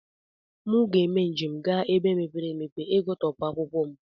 Mụ ga eme njem ga n'ebe mepere emepe igụtọpu akwụkwọ m.